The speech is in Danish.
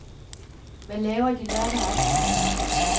Hvad laver de lørdag aften?